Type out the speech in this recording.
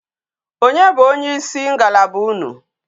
Onye bu onye isi ngalaba unu?